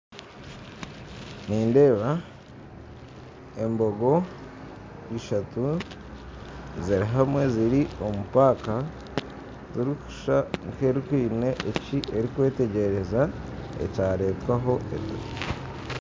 Nindeeba embogo ishatu zirihamwe ziri omupaaka erikushusha nka eine ekyerukwetegyereza ekyaretwaho